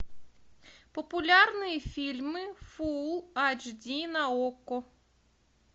популярные фильмы фул эйч ди на окко